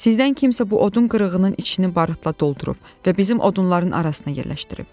Sizdən kimsə bu odun qırığının içinin barıtla doldurub və bizim odunların arasına yerləşdirib.